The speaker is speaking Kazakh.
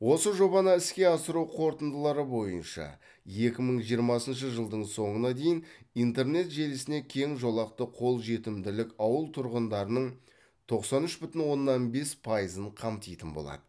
осы жобаны іске асыру қорытындылары бойынша екі мың жиырмасыншы жылдың соңына дейін интернет желісіне кең жолақты қол жетімділік ауыл тұрғындарының тоқсан үш бүтін оннан бес пайызын қамтитын болады